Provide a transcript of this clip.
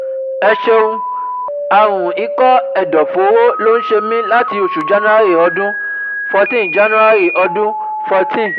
Ẹ ṣeun, àrùn ikọ́ ẹ̀dọ̀fóró ló ń ṣe mí láti oṣù January ọdún fourteen January ọdún fourteen